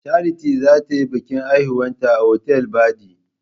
Charity za ta yi biƙin haihuwanta a otal baɗi.